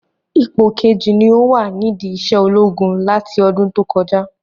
Ipò keji ni o wa nidi isé ológun láti ọdún tó kọjá